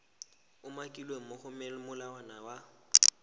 umakilweng mo go molawana wa